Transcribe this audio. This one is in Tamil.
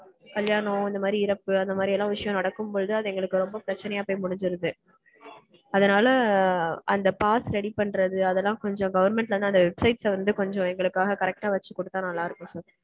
கல்யாணம் இந்த மாதிரி இறப்பு அந்த மாதிரியெல்லாம் விஷயம் நடக்கும்போது எங்களுக்கு கொஞ்சம் பிரச்சினையா போய் முடிஞ்சிருது. அதனால அந்த pass ready பண்றது அதலாம் கொஞ்சம் government ல இருந்து அந்த websites அ வந்து கொஞ்சம் எங்களுக்காக correct அ வச்சு கொடுத்தா நல்லா இருக்கும் sir.